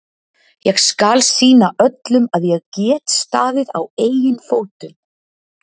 ÉG SKAL SÝNA ÖLLUM AÐ ÉG GET STAÐIÐ Á EIGIN FÓTUM.